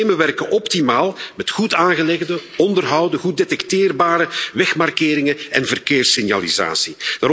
Die systemen werken optimaal met goed aangelegde, onderhouden, goed detecteerbare wegmarkeringen en verkeerssignalisatie.